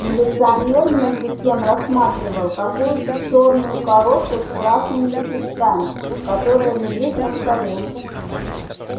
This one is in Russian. милиционер между тем рассматривал какую-то чёрную коробку с красными лепестками которая лежит на столе